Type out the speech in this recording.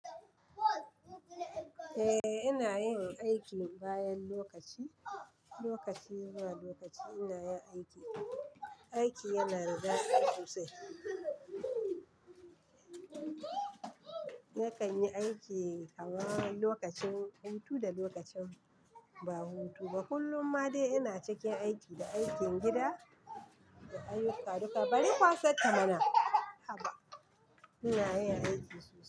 Eh ina yin aiki bayan lokaci, lokaci zuwa lokaci ina yin aiki. Aiki yana da dadi sosai. Nakan yi aiki awani lokacin hutu da lokacin da ba hutu ba. Kullum ma dai ina cikin aiki, da aikin gida da ayyukaduka, bari kwasan kamana. Haba! Ina yin aiki sosai.